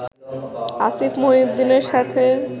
আসিফ মহিউদ্দিনের সাথে